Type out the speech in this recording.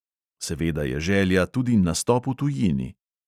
Seveda je želja tudi nastop v tujini.